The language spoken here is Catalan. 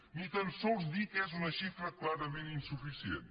ni tan sols dir que és una xifra clarament insuficient